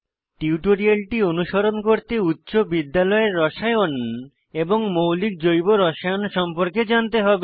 টিউটোরিয়ালটি অনুসরণ করতে উচ্চ বিদ্যালয়ের রসায়ন এবং মৌলিক জৈব রসায়ন সম্পর্কে জানতে হবে